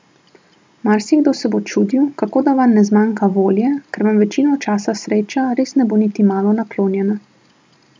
Marsikdo se bo čudil, kako da vam ne zmanjka volje, ker vam večino časa sreča res ne bo niti malo naklonjena.